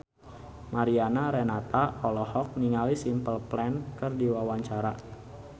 Mariana Renata olohok ningali Simple Plan keur diwawancara